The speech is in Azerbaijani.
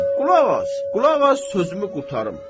Qulaq as, qulaq as, sözümü qurtarım.